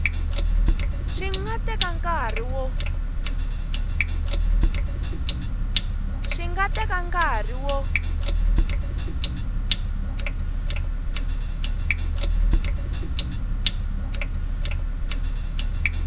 swi nga teka nkarhi wo